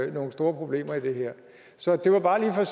nogle store problemer i det her så det var bare lige for